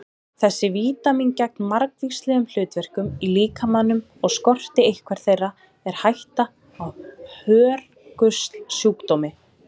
Þessi vítamín gegna margvíslegum hlutverkum í líkamanum og skorti eitthvert þeirra er hætta á hörgulsjúkdómi.